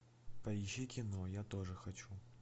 поищи кино я тоже хочу